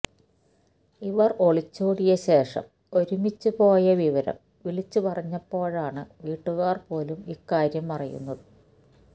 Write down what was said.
ഇവര് ഒളിച്ചോടിയ ശേഷം ഒരുമിച്ച് പോയ വിവരം വിളിച്ച് പറഞ്ഞപ്പോഴാണ് വീട്ടുകാര് പോലും ഇക്കാര്യം അറിയുന്നത്